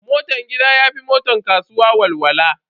Motan gida ya fi motar kasuwa walwala.